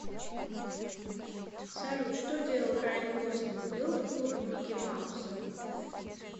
салют что делал райан гослинг был в клубе микки мауса